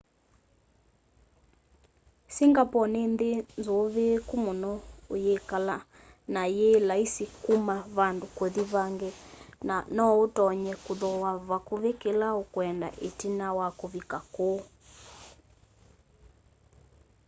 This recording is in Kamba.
singapore ni nthi nzuviiku muno uyikala na yi laisi kuma vandu kuthi vangi na noutonye kuthooa vakuvi kila ukwenda itina wa uvika kuu